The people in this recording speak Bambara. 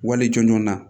Wale jɔnjɔn na